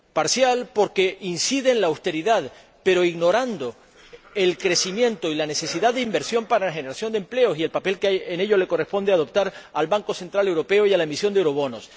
Parcial, porque incide en la austeridad, pero ignorando el crecimiento y la necesidad de inversión para la generación de empleo y el papel que en ello les corresponde adoptar al Banco Central Europeo y a la emisión de eurobonos.